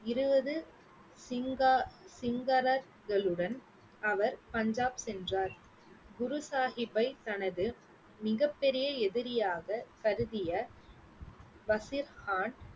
இருபது சிங்கா~ சிங்களரங்களுடன் அவர் பஞ்சாப் சென்றார் குரு சாஹிப்பை தனது மிகப் பெரிய எதிரியாக கருதிய பஷீர் கான்